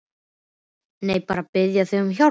Nei, bara að biðja þig um hjálp.